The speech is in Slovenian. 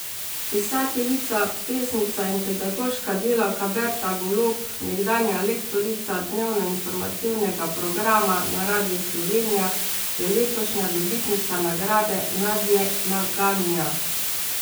Pisateljica, pesnica in pedagoška delavka Berta Golob, nekdanja lektorica dnevnoinformativnega programa na Radiu Slovenija, je letošnja dobitnica nagrade Nadje Maganja.